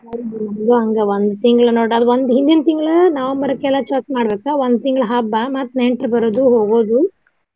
ನಮ್ದು ಹಂಗ ಒಂದ ತಿಂಗಳ ನಮ್ದ ಹಿಂದಿನ ತಿಂಗಳಿ November ಕ್ಕೆಲ್ಲಾ ಸ್ವಚ್ಛ ಮಾಡ್ಬೇಕ ಒಂದ ತಿಂಗಳ ಹಬ್ಬ ಮತ್ತ ನೆಂಟ್ರ ಬರೋದು ಹೋಗೋದು.